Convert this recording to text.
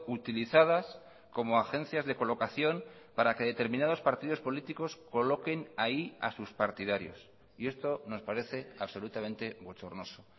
utilizadas como agencias de colocación para que determinados partidos políticos coloquen ahí a sus partidarios y esto nos parece absolutamente bochornoso